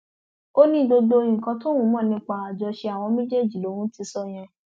ó ní gbogbo nǹkan tóun mọ nípa àjọṣe àwọn méjèèjì lòun ti sọ yẹn